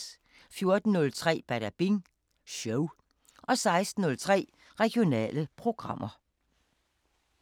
14:03: Badabing Show 16:03: Regionale programmer